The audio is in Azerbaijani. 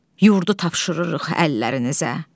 Yurdu tapşırırıq əllərinizə.